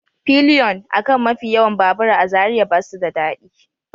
Pilion a kan mafi yawan babura a Zariya ba su da daɗi